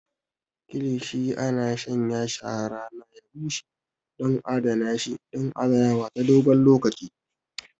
Kilishi ana shanyashi a rana ya bushe don adana shi don adanawa ta dogon lokaci.